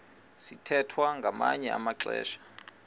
sithwethwa ngamanye amaxesha